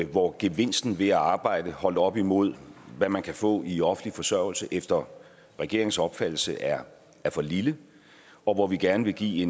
hvor gevinsten ved at arbejde holdt op imod hvad man kan få i offentlig forsørgelse efter regeringens opfattelse er er for lille og hvor vi gerne vil give